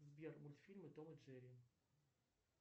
сбер мультфильмы том и джерри